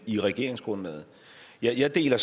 i regeringsgrundlaget jeg deler